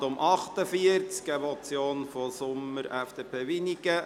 Es handelt sich um eine Motion von Grossrat Sommer, FDP, Wynigen: